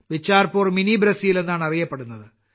Bicharpur mini Brazil എന്നാണ് അറിയപ്പെടുന്നത്